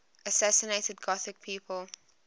assassinated gothic people